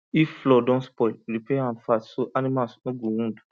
if floor don spoil repair am fast so animals no go wound